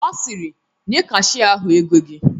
Ọ sịrị "Nye kashia ahụ ego gị"